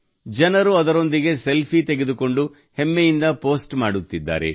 ಜನರು ಅದರೊಂದಿಗೆ ಸೆಲ್ಫಿ ತೆಗೆದುಕೊಂಡು ಹೆಮ್ಮೆಯಿಂದ ಪೋಸ್ಟ್ ಮಾಡುತ್ತಿದ್ದಾರೆ